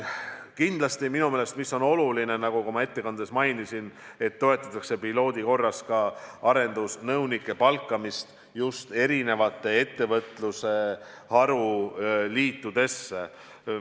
Kindlasti, minu meelest on oluline, nagu ma ka oma ettekandes mainisin, et toetatakse pilootprojekti korras arendusnõunike palkamist ettevõtluse haruliitudesse.